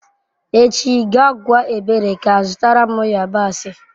Echi gaa gwa ebere ka zụtara m yabasị.